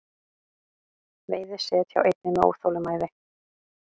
Veiði set hjá einni með óþolinmæði